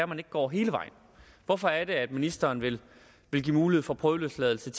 man ikke går hele vejen hvorfor er det at ministeren vil vil give mulighed for prøveløsladelse